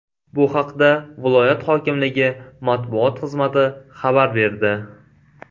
Bu haqda viloyati hokimligi matbuot xizmati xabar berdi .